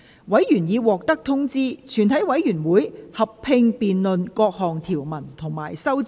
委員已獲得通知，全體委員會會合併辯論各項條文及修正案。